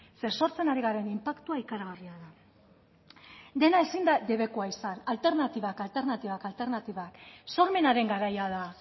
ze sortzen ari garen inpaktua ikaragarria da dena ezin da debekua izan alternatibak alternatibak alternatibak sormenaren garaia da